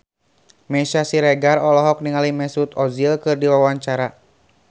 Meisya Siregar olohok ningali Mesut Ozil keur diwawancara